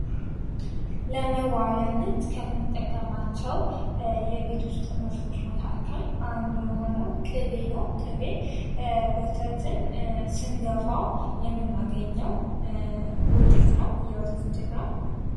ለመዋቢያነት ከምጠቀማቸው የቤት ውስጥ ምርቶች መካከል አንዱ የሆነው ቅቤ ነው ፤ ቅቤ ወተትን ስንገፋው የምናገኘው ውጤት ነው፥ የወተት ውጤት ነው።